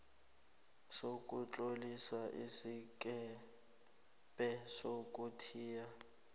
sokutlolisa isikebhe sokuthiya